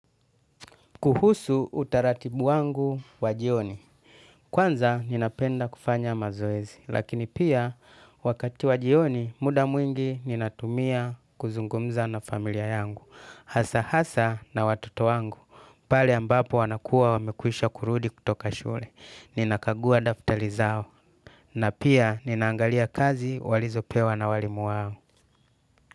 Kuhusu utaratibu wangu wajioni. Kwanza ninapenda kufanya mazoezi. Lakini pia, wakati wajioni, muda mwingi ninatumia kuzungumza na familia yangu. Hasa hasa na watoto wangu. Pale ambapo wanakuwa wamekwisha kurudi kutoka shule. Ninakagua daftali zao. Na pia, ninaangalia kazi walizo pewa na walimu wangu.